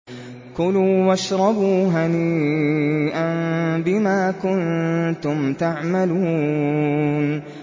كُلُوا وَاشْرَبُوا هَنِيئًا بِمَا كُنتُمْ تَعْمَلُونَ